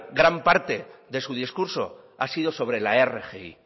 gran parte de su discurso ha sido sobre la rgi